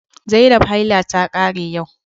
Zainab haila ta kare yau